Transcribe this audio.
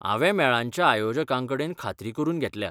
हांवें मेळांच्या आयोजकांकेडन खात्री करून घेतल्या.